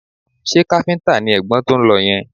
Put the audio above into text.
Ṣé káfíńtà ni ẹ̀gbọ́n tó ń lọ yẹn?